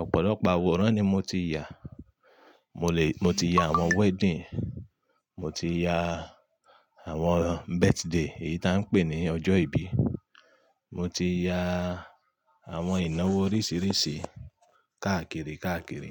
Ọ̀pọ̀lọpọ̀ àwòrán ni mo ti yà. Mo lè, mo ti ya àwọn wedding, mo ti ya àwọn birthday èyí tá ń pè ní ọjọ́ ìbí, mo ti ya àwọn ìnáwó oríṣìíríṣìí káàkiri, káàkiri.